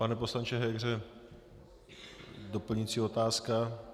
Pane poslanče Hegře, doplňující otázka.